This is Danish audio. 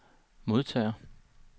modtager